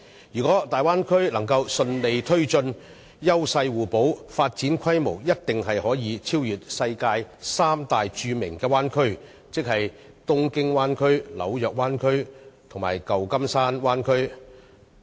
如果大灣區能順利推進，優勢互補，發展規模定必可超越世界三大著名灣區，即東京灣區、紐約灣區和舊金山灣區。